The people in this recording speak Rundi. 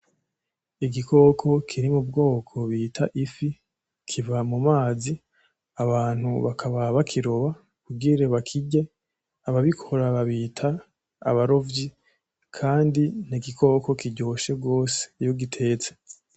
Igikoko kiri mu bwoko bita ifi, kiva mu mazi abantu bakaba bakiroba kugira bakirye, ababikora babita abarovyi kandi ni igikoko kiryoshe gose iyo ugitetse.